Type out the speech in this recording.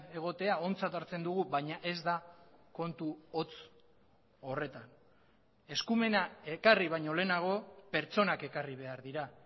egotea ontzat hartzen dugu baina ez da kontu hotz horretan eskumena ekarri baino lehenago pertsonak ekarri behar dira